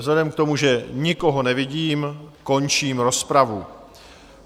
Vzhledem k tomu, že nikoho nevidím, končím rozpravu.